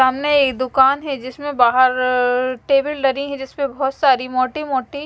सामने ए दुकान है जिसमे बहार टेबिल लगी है जिसमे बहत सारी मोटी मोटी--